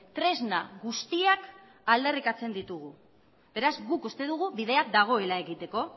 tresna guztiak aldarrikatzen ditugu beraz guk uste dugu bidea dagoela egiteko